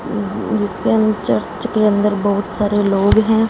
जिसके चर्च अंदर के अंदर बहोत सारे लोग हैं।